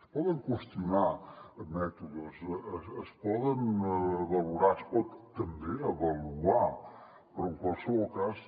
es poden qüestionar mètodes es poden valorar es pot també avaluar però en qualsevol cas